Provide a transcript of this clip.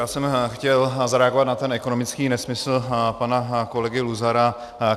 Já jsem chtěl zareagovat na ten ekonomický nesmysl pana kolegy Luzara.